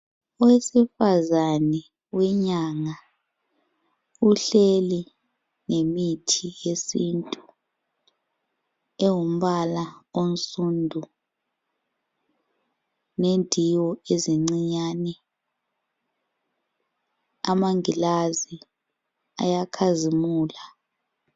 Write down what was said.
Owesifazane wenyanga uhleli lemithi yesintu engumbala onsundu nendiwo ezincinyane amanglazi ayakhazimula.